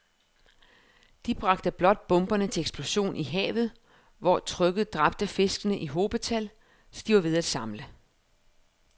De bragte blot bomberne til eksplosion i havet, hvor trykket dræbte fiskene i hobetal, så de var til at samle